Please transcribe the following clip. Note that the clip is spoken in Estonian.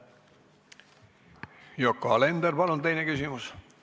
Yoko Alender, palun teine küsimus!